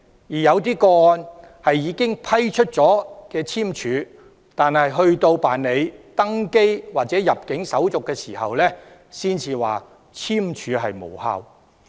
在某些個案中，有關當局已經批出簽證，但有關人士在辦理登機或入境手續時，才知悉簽證無效。